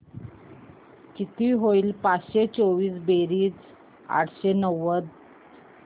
किती होईल पाचशे चोवीस बेरीज आठशे नव्वद